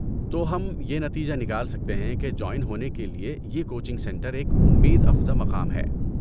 تو ہم یہ نتیجہ نکال سکتے ہیں کہ جوائن ہونے کے لیے یہ کوچنگ سنٹر ایک امید افزا مقام ہے۔